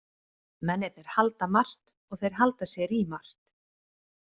Mennirnir halda margt og þeir halda sér í margt.